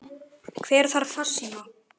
Hver þarf farsíma?